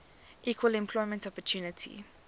equal employment opportunity